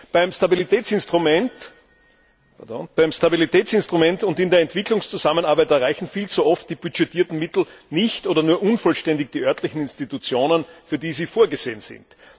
Beim Stabilitätsinstrument und in der Entwicklungszusammenarbeit erreichen viel zu oft die budgetierten Mittel nicht oder nur unvollständig die örtlichen Institutionen, für die sie vorgesehen sind.